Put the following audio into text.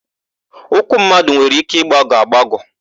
Ụkwụ mmadụ nwere ike ịgbagọ agbagọ.